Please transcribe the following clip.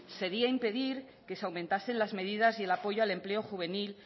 sería impedir que se aumentasen las medidas y el apoyo al empleo juvenil